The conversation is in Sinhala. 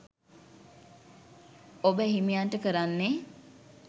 ඔබ එහිමියන්ට කරන්නේ